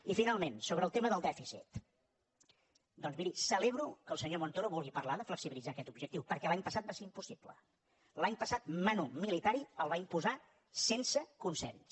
i finalment sobre el tema del dèficit doncs miri celebro que el senyor montoro vulgui parlar de flexibilitzar aquest objectiu perquè l’any passat va ser impossible l’any passat manu militarisense consens